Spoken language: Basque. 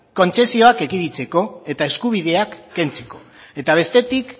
kontzesioak ekiditeko eta eskubideak kentzeko eta bestetik